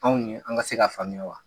Anw ye an ka se ka faamuya wa?